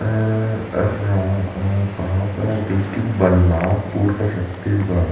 अ अ कहाँ पर डिस्ट्रिक बलरामपुर का छत्तीसगढ़ --